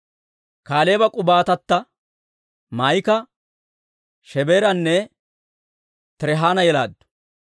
Kaaleeba k'oomatta Maa'ika Shebeeranne Tirihaana yelaaddu.